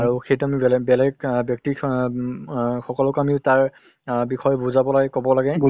আৰু সেইটো আমি বেলে বেলেগ ব্যক্তিক হ অ সকলোকে আমি তাৰ বিষয়ে অ বুজাব লাগে কব লাগে ।